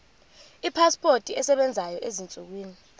ipasipoti esebenzayo ezinsukwini